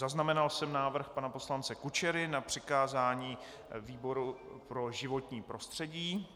Zaznamenal jsem návrh pana poslance Kučery na přikázání výboru pro životní prostředí.